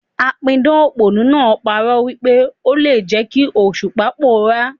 A pidàn òpònú náà pa'rọ́ wípé ò n le jẹ́ kí Òṣùpá pòórá.